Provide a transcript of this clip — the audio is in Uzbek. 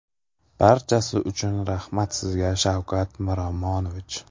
Barchasi uchun rahmat sizga, Shavkat Miromonovich!